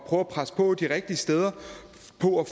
at presse på de rigtige steder